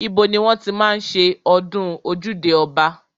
Ibo ni wọ́n ti máa ń ṣe ọdún ojúde ọba?